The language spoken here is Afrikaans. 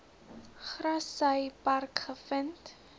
grassy park gevind